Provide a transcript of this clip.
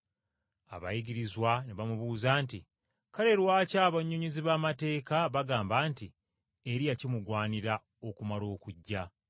Abayigirizwa ne bamubuuza nti, “Kale lwaki abannyonnyozi b’amateeka bagamba nti, Eriya kimugwanira okumala okujja?”